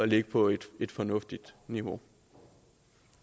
ligge på et fornuftigt niveau